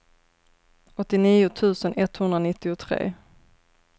åttionio tusen etthundranittiotre